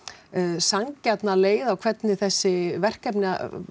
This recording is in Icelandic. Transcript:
sanngjarna leið á hvernig þessi verkefni